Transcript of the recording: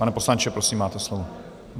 Pane poslanče, prosím, máte slovo.